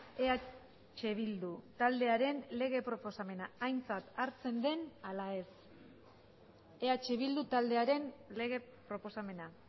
eh bildu taldearen lege proposamena aintzat hartzen den ala ez eh bildu taldearen lege proposamena